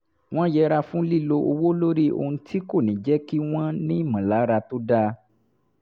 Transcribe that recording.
wọ́n yẹra fún lílo owó lórí ohun tí kò ní jẹ́ kí wọ́n nímọ̀lára tó dáa